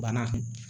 Bana